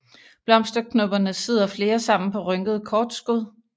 Blomsterknopperne sidder flere sammen på rynkede kortskud